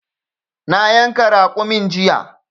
Na yanka raƙumin jiya.